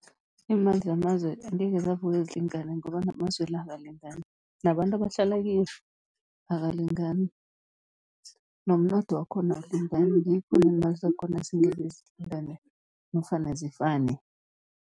Iimali zamazwe angekhe zavuka zilingane, ngoba namazwe la akalingani, nabantu abahlala kiyo abalingani, nomnotho wakhona awulingani. Ngikho neemali zakhona zingekhe zilingane nofana zifane.